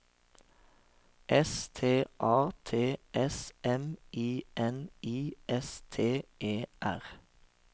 S T A T S M I N I S T E R